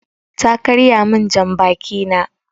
Ta karya min jan baki na